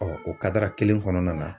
o kadara kelen kɔnɔna na.